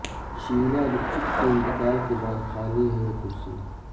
شیلا دکشت کے انتقال کے بعد خالی ہے یہ کرسی